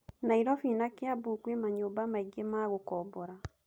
Nairobi na Kiambu kwĩ manyũmba maingĩ ma gũkombora.